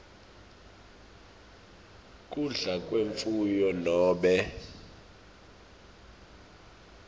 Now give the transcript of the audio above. kudla kwemfuyo nobe